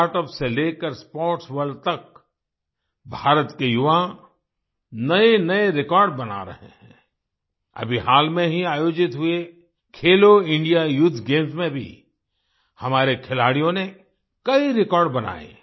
startups से लेकर sports world तक भारत के युवा नएनए रिकॉर्ड बना रहे हैं आई अभी हाल में ही आयोजित हुए खेलो इंडिया यूथ गेम्स में भी हमारे खिलाड़ियों ने कई रेकॉर्ड बनाए